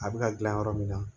A bɛ ka gilan yɔrɔ min na